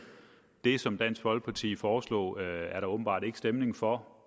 det som dansk folkeparti foreslog er der åbenbart ikke stemning for